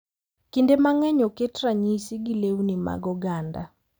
Kinde mang’eny oket ranyisi gi lewni mag oganda,